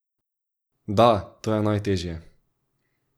Da, to je najteže.